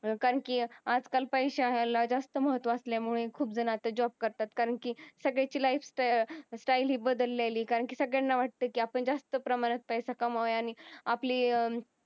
कारण की आजकाल पैशाला जास्त महत्त्व असल्यामुळे खूप जण आता job करतात कारण की सगळ्यांची life style हि बदललेली कारण कि सगळ्यांना वाटतं कि आपण जास्त प्रमाणात कमवावा आणि आपली